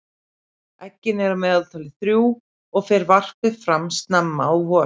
eggin eru að meðaltali þrjú og fer varpið fram snemma á vorin